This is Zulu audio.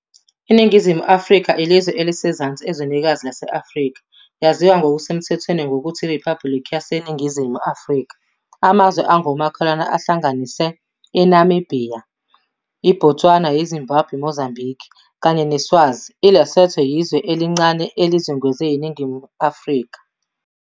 INingizimu Afrika ilizwe elisezansi ezwenikazi lase-Afrika, yaziwa ngokusemthethweni ngokuthi iRiphabhuliki yaseNingizimu Afrika. Amazwe angomakhelwane ahlanganisa iNamibhiya, iBotswana, iZimbabwe, Mozambiki kanye neSwazi, iLesotho iyizwe elincane elizungezwe iNingizimu Afrika.